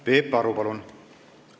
Peep Aru, palun!